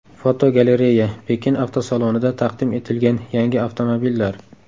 Fotogalereya: Pekin avtosalonida taqdim etilgan yangi avtomobillar.